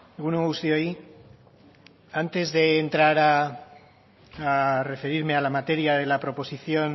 egun on guztioi antes de entrar a referirme a la materia de la proposición